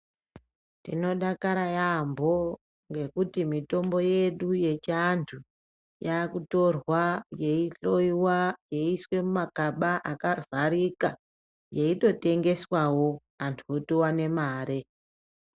Tinodakara yambo nekuti mitombo yedu yechiantu yaakutorwa yeihloyiwa yeiiswa muma kaba akavharika yeyitotengeswawo antu otowane mare.